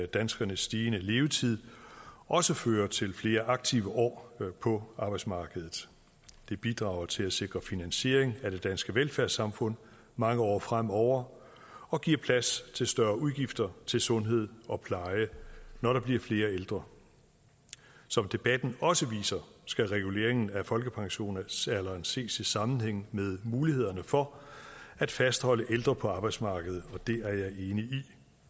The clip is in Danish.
danskernes stigende levetid også fører til flere aktive år på arbejdsmarkedet det bidrager til at sikre finansieringen af det danske velfærdssamfund mange år fremover og giver plads til større udgifter til sundhed og pleje når der bliver flere ældre som debatten også viser skal reguleringen af folkepensionsalderen ses i sammenhæng med mulighederne for at fastholde ældre på arbejdsmarkedet det er jeg enig i